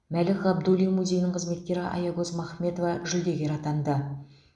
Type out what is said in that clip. мәлік ғабдуллин музейінің қызметкері аягөз махметова жүлдегер атанды